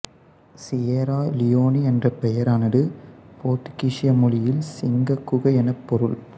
Sierra Leone என்ற பெயரானது போத்துக்கீசிய மொழியில் சிங்கக் குகை எனப் பொருள்